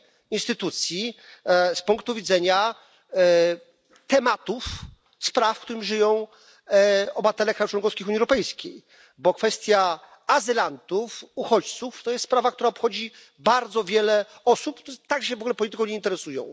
instytucji z punktu widzenia tematów, spraw, którymi żyją obywatele krajów członkowskich Unii Europejskiej, a kwestia azylantów, uchodźców to jest sprawa, która obchodzi bardzo wiele osób, które tak w ogóle się polityką nie interesują.